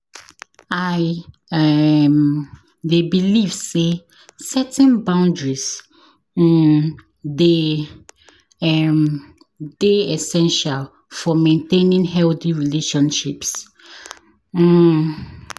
I um dey believe say setting boundaries um dey um dey essential for maintaining healthy relationships. um